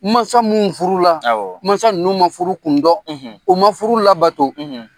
Mansa minnu furu la mansa n ma furu kun dƆn u ma furu labato.